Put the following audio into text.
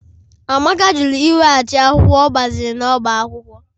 Amaka jụrụ iweghachi akwụkwọ ọ gbaziri n'ọbá akwụkwọ